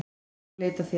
Ég fór að leita að þér.